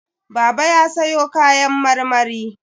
Baba ya sayo kayan marmari.